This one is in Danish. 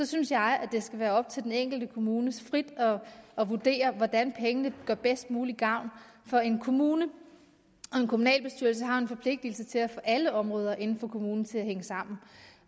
synes jeg det skal være op til den enkelte kommune frit at vurdere hvordan pengene gør bedst muligt gavn for en kommune og en kommunalbestyrelse har jo en forpligtelse til at få alle områder inden for kommunen til at hænge sammen